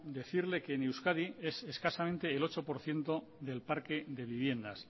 decirle que en euskadi es escasamente el ocho por ciento del parque de viviendas